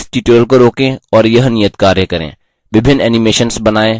इस tutorial को रोकें और यह नियतकार्य करें